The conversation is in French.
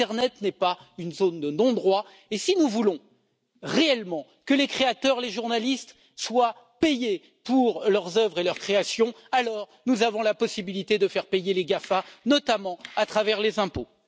L'internet n'est pas une zone de non droit, et si nous voulons réellement que les créateurs et les journalistes soient payés pour leurs œuvres et leurs créations, alors nous avons la possibilité de faire payer les GAFA, notamment à travers les impôts.